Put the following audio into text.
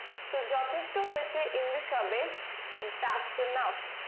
তো যথেষ্ট হয়েছে english হবে thats enuf